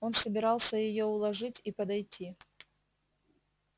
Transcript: он собирался её уложить и подойти